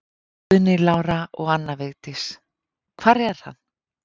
Guðný Lára og Anna Vigdís: Hvar er hann?